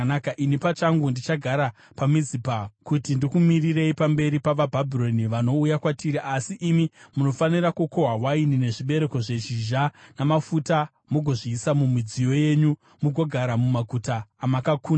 Ini pachangu ndichagara paMizipa kuti ndikumirirei pamberi pavaBhabhironi vanouya kwatiri, asi imi munofanira kukohwa waini, nezvibereko zvezhizha namafuta mugozviisa mumidziyo yenyu, mugogara mumaguta amakakunda.”